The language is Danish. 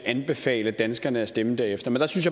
anbefale danskerne at stemme derefter men der synes